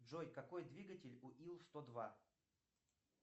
джой какой двигатель у ил сто два